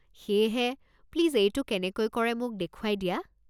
সেয়েহে, প্লিজ এইটো কেনেকৈ কৰে মোক দেখুৱাই দিয়া।